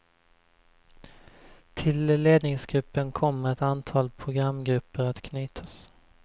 Till ledningsgruppen kommer ett antal programgrupper att knytas.